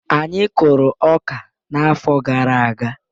Anyị kụrụ ọka n'afọ gara aga.